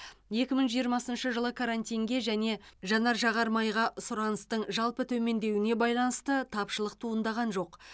екі мың жиырмасыншы жылы карантинге және жанар жағармайға сұраныстың жалпы төмендеуіне байланысты тапшылық туындаған жоқ